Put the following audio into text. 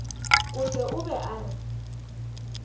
kote o be a re